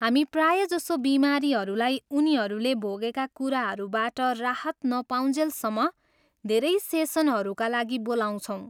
हामी प्रायजसो बिमारीहरूलाई उनीहरूले भोगेका कुराहरूबाट राहत नपाउन्जेलसम्म धेरै सेसनहरूका लागि बोलाउँछौँ।